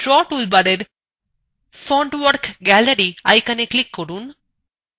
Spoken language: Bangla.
নীচের drawing toolbarএর fontwork gallery iconএ click করুন